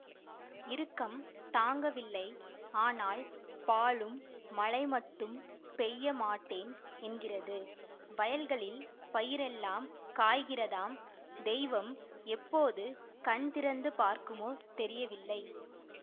இறுக்கம் தாங்கவில்லை ஆனால் பாழும் மழை மட்டும் பெய்ய மாட்டேன் என்கிறது வயல்களில் பயிரெல்லாம் காய்கிறதாம் தெய்வம் எப்போது கண் திறந்து பார்க்குமோ தெரியவில்லை